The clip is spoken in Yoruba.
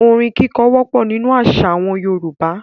Orin kíkọ wọ́pọ̀ nínú àṣà àwọn Yorùbá.